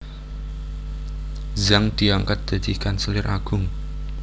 Zhang diangkat dadi kanselir agung